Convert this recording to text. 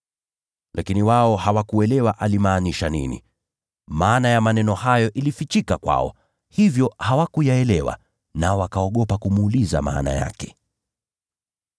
Lakini wao hawakuelewa alimaanisha nini. Maana ya maneno hayo ilifichika kwao, hivyo hawakuyaelewa, nao wakaogopa kumuuliza maana yake.